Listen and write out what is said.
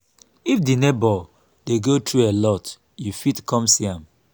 if di neighbour dey go through alot you fit come see am